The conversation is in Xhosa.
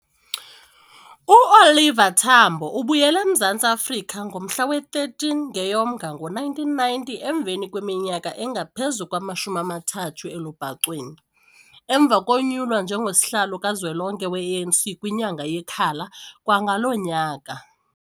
UOliver Tambo ubuyele eMzantsi Afrika ngomhla we-13 ngeyoMnga ngo1990 emveni kweminyaka engaphezu kwama-30 elubhacweni, emva konyulwa njengo-Sihlalo kaZwelonke we-ANC kwinyanga yeKhala kwangalo nyaka.